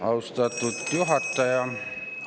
Austatud juhataja!